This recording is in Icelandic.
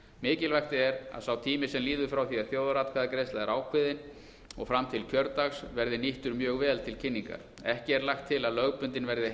mikilvægt er að sá tími sem líður frá því að þjóðaratkvæðagreiðsla er ákveðin og fram til kjördags verði nýttur mjög vel til kynningar ekki er lagt til að lögbundin verði